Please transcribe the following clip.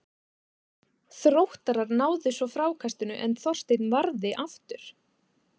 Þróttarar náðu svo frákastinu en Þorsteinn varði aftur.